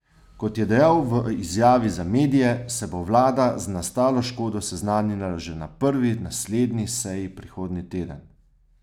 Kot je dejal v izjavi za medije, se bo vlada z nastalo škodo seznanila že na prvi naslednji seji prihodnji teden.